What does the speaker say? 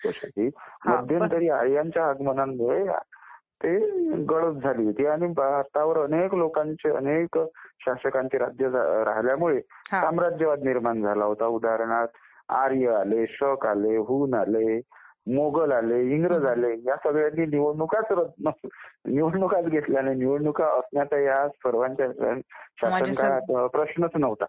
मध्यंतरी आर्यांच्या आगमनामुळे ती गडप झाली होती आणि त्यावर अनेक शासकांचे राज्य राहिल्यामुळे साम्राज्यवाद निर्माण झाला होता. उदाहरणार्थ आर्य आले, शक आले, हुन आले मोघल आले, इंग्रज आले ह्या सगळ्यांनी निवडणुकांचं घेतल्या नाहीत. प्रश्नच नव्हता.